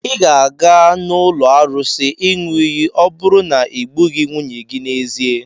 Ị ga-aga n'ụlọ arụsị ịṅụ iyi ọ bụrụ na i gbughị nwunye gị n'ezie.